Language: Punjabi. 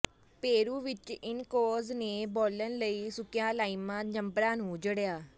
ਪੇਰੂ ਵਿਚ ਇਨਕਾਜ਼ ਨੇ ਬਾਲਣ ਲਈ ਸੁੱਕੀਆਂ ਲਾਈਮਾ ਜੰਪਰਾਂ ਨੂੰ ਜੜਿਆ